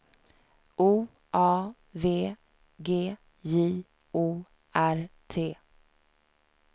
O A V G J O R T